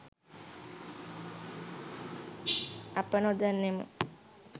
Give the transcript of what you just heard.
අප නොදන්නෙමු